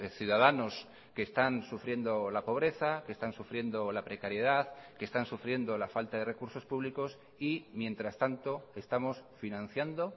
ciudadanos que están sufriendo la pobreza que están sufriendo la precariedad que están sufriendo la falta de recursos públicos y mientras tanto estamos financiando